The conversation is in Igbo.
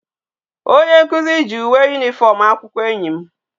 Onye nkuzu gi uwe uniform akwukwo enyi m